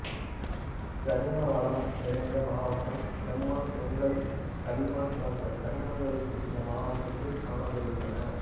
கனிம வளம் நிறைந்த மாவட்டம் செம்மண் செங்கல் களிமண் போன்ற கனிமங்களும் இந்த மாவட்டத்தில் காணப்படுகின்றன